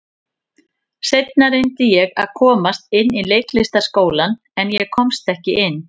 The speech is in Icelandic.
Seinna reyndi ég að komast inn í Leiklistarskólann, en ég komst ekki inn.